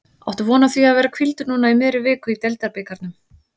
Áttu von á því að vera hvíldur núna í miðri viku í deildabikarnum?